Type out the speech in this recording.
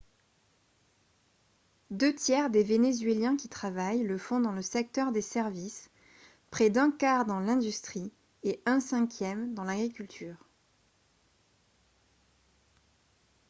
deux tiers des vénézuéliens qui travaillent le font dans le secteur des services près d'un quart dans l'industrie et un cinquième dans l'agriculture